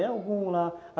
É algum lá.